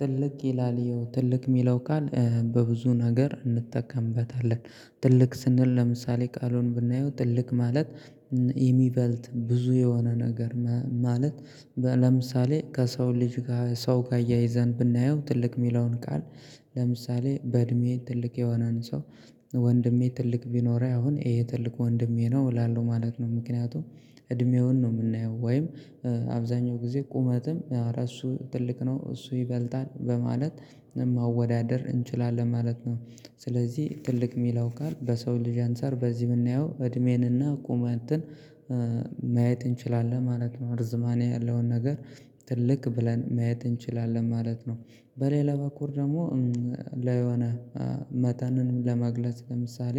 ትልቅ ይላል ይኸው ትልቅ የሚለው ቃል በብዙ ነገር እንጠቀምበታለን ትልቅ ስንል ለምሳሌ ቃሉን ብናየው ትልቅ ማለት የሚበልጥ ብዙ የሆነ ነገር ማለት። ለምሳሌ ከሰው ልጅ ጋር ሰው ጋር አያይዘን ብናየው ትልቅ የሚለውን ቃል ለምሳሌ በእድሜ ትልቅ የሆነን ሰው ወንድሜ ትልቅ ቢኖር አሁን ይሄ ትልቅ ወንድሜ ነው እላለሁ ማለት ነው። ምክንያቱም እድሜውን ነው የምናየው ወይም አብዛኛው ጊዜ ቁመትም ኧረ እሱ ትልቅ ነው እሱ ይበልጣል በማለት መወዳደር እንችላለን ማለት ነው። ስለዚህ ትልቅ የሚለው ካል በሰው ልጅ አንፃር በዚህ የምናየው እድሜንና ቁመንትን ማየት እንችላለን ማለት ነው ርዝማኔ ያለውን ነገር ትልቅ ብለን ማየት እንችላለን ማለት ነው። በሌላ በኩል ደግሞ ለሆነ መጠንንም ለመግለጽ ለምሳሌ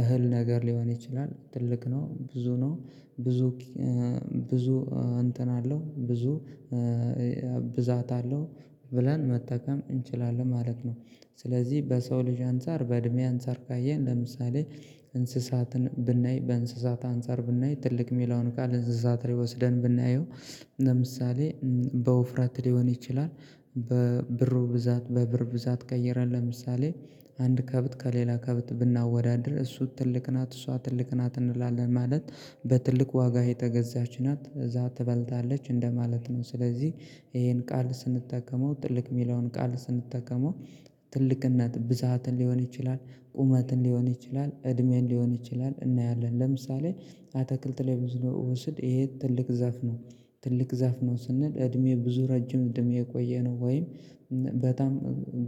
እህል ነገር ሊሆን ይችላል ትልቅ ነው ብዙ ነው ብዙ ብዙ እንትን አለው ብዙ ብዛት አለው ብለን መጠቀም እንችላለን ማለት ነው። ስለዚህ በሰው ልጅ አንፃር በእድሜ አንፃር ካየን ለምሳሌ እንስሳትን ብናይ በእንስሳት አንፃር ብናይ ትልቅ የሚለውን ቃል እንስሳት ወስደን ብናየው ለምሳሌ በውፍረት ሊሆን ይችላል በብሩ ብዛት በብር ብዛት ቀይረን ለምሳሌ አንድ ከብት ከሌላ ከብት ብናወዳድር እሱ ትልቅ ናት እሷ ትልቅ ናት እንላለን። ማለት በትልቅ ዋጋ የተገዛች ናት እዛ ትበልታለች እንደማለት ነው። ስለዚህ ይሄን ቃል ስንጠቀመው ትልቅ የሚለውን ቃል ስንጠቀመው ትልቅነት ብዛትን ሊሆን ይችላል ቁመትን ሊሆን ይችላል እድሜን ሊሆን ይችላል እናያለን። ለምሳሌ አትክልት ላይ ብዙ ነው ውስድ ይሄ ትልቅ ዛፍ ነው ትልቅ ዛፍ ነው ስንል እድሜው ብዙ ረጅም እድሜ የቆየ ነው ወይም በጣም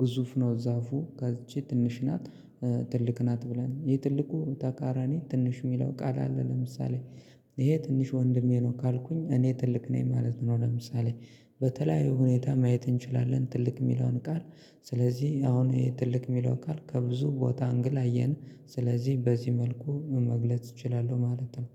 ግዙፍ ነው። ዛፉ ይቺ ትንሽ ናት ትልቅ ናት ብለን የትልቁ ተቃራኒ ትንሽ የሚለው ቃል አለ። ለምሳሌ ይሄ ትንሽ ወንድሜ ነው ካልኩኝ እኔ ትልቅ ነኝ ማለት ነው። ለምሳሌ በተለያዩ ሁኔታ ማየት እንችላለን ትልቅ የሚለውን ቃል ስለዚህ አሁን ትልቅ የሚለው ቃል ከብዙ ቦታ እንግል አየን ስለዚህ በዚህ መልኩ መግለጽ እችላለሁ ማለት ነው